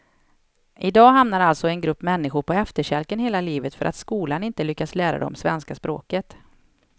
I dag hamnar alltså en grupp människor på efterkälken hela livet för att skolan inte lyckats lära dem svenska språket.